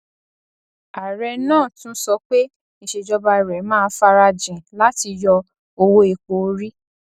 ààrẹ náà tún sọ pé ìsèjọba rẹ máa farajìn láti yọ owó epo orí